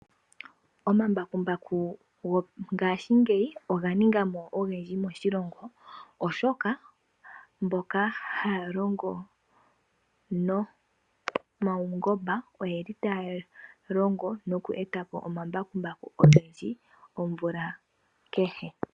Omambakumbaku go ngaashingeyi oga ningamo ogendji moshilongo oshoka mboka haya longo nomaungomba oyeli taya longo noku etapo omambakumbaku ogendji omvula kehe.